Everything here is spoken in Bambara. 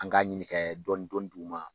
An k'a ɲinin kɛ dɔɔnin dɔɔninn di' ma